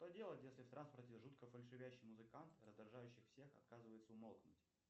что делать если в транспорте жутко фальшивящий музыкант раздражающий всех отказывается умолкнуть